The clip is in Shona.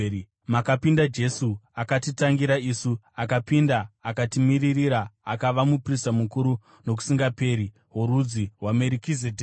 makapinda Jesu akatitangira isu, akapinda akatimiririra. Akava muprista mukuru nokusingaperi worudzi rwaMerikizedheki.